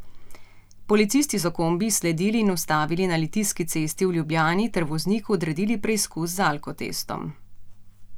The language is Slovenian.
Policisti so kombi izsledili in ustavili na Litijski cesti v Ljubljani ter vozniku odredili preizkus z alkotestom.